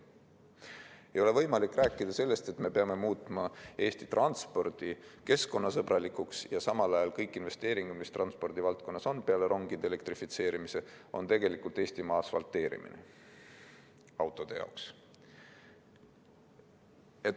Ei ole võimalik rääkida sellest, et me peame muutma Eesti transpordi keskkonnasõbralikuks, kui samal ajal kõik investeeringud, mis transpordivaldkonnas on, peale rongide elektrifitseerimise, tähendavad tegelikult Eesti asfalteerimist autode jaoks.